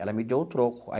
Ela me deu o troco.